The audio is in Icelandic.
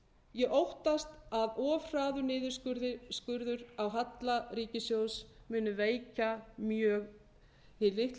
ég óttast að of hraður niðurskurður á halla ríkissjóðs muni veikja mjög hið litla